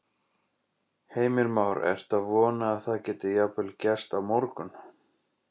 Heimir Már: Ertu að vona að það geti jafnvel gerst á morgun?